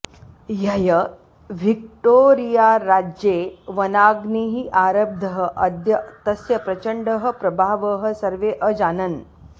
ह्यः विक्टोरीयाराज्ये वनाग्निः आरब्धः अद्य तस्य प्रचण्डः प्रभावः सर्वे अजानन्